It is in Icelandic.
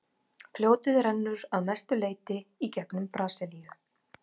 fljótið rennur að mestu leyti í gegnum brasilíu